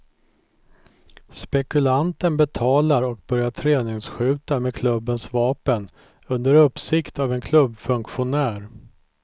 Spekulanten betalar och börjar träningsskjuta med klubbens vapen under uppsikt av en klubbfunktionär.